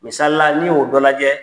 Misalila n'i y'o dɔ lajɛ